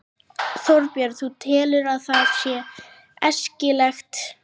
Þorbjörn: Þú telur að það sé æskilegt?